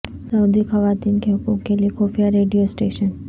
سعودی خواتین کے حقوق کے لیے خفیہ ریڈیو سٹیشن